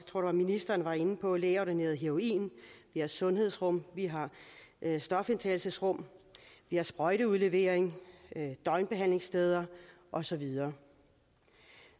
tror ministeren var inde på lægeordineret heroin vi har sundhedsrum vi har stofindtagelsesrum vi har sprøjteudlevering døgnbehandlingssteder og så videre